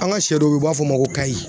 An ka sɛ dɔw bɛ ye u b'a fɔ o ma ko kayi.